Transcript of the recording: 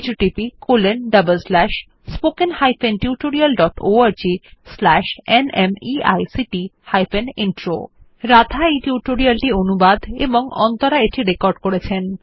httpspoken tutorialorgNMEICT Intro আমি অন্তরা এই tutorial টি অনুবাদ এবং রেকর্ড করেছি